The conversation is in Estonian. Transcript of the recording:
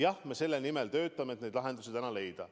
Jah, me selle nimel töötame, et neid lahendusi leida.